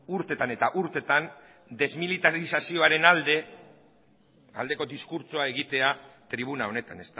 urtetan eta urtetan desmilitarizaziaoren aldeko diskurtsoa egitea tribuna honetan